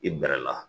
I bɛ bɛrɛ la